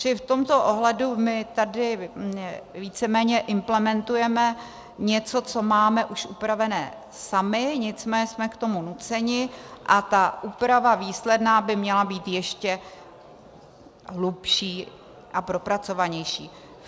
Čili v tomto ohledu my tady víceméně implementujeme něco, co máme už upravené sami, nicméně jsme k tomu nuceni a ta úprava výsledná by měla být ještě hlubší a propracovanější.